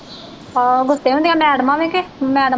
ਹਾਂ ਗੁੱਸੇ ਹੁੰਦੀਆਂ ਮੈਡਮਾਂ ਵੀ ਕਿ ਮੈਡ